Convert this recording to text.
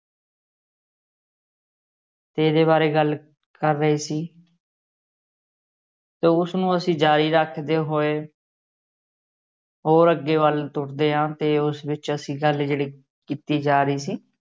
ਤੇ ਇਹਦੇ ਬਾਰੇ ਗੱਲ ਕਰ ਰਹੇ ਸੀ ਤੇ ਉਸਨੂੰ ਅਸੀ ਜਾਰੀ ਰੱਖਦੇ ਹੋਏ ਹੋਰ ਅੱਗੇ ਵੱਲ ਤੁਰਦੇ ਹਾਂ ਤੇ ਉਸ ਵਿਚ ਅਸੀ ਗੱਲ ਜਿਹੜੀ ਕੀਤੀ ਜਾ ਰਹੀ ਸੀ।